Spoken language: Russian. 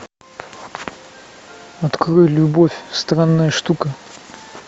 открой любовь странная штука